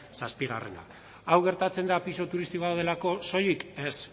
zazpigarrena hau gertatzen da pisu turistikoak daudelako soilik ez